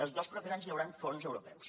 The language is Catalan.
els dos propers anys hi hauran fons europeus